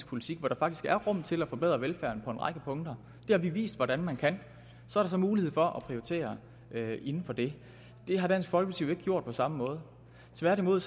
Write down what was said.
politik hvor der faktisk er rum til at forbedre velfærden på en række punkter det har vi vist hvordan man kan så er der mulighed for at prioritere inden for det det har dansk folkeparti jo ikke gjort på samme måde tværtimod